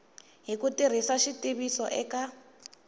hi ku tirhisa xitiviso eka